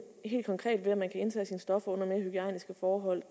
helt konkret ved at man kan indtage stoffer under mere hygiejniske forhold